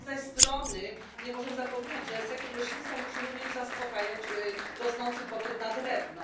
Z drugiej zaś strony nie możemy zapominać, że sektor leśnictwa musi również zaspokajać rosnący popyt na drewno.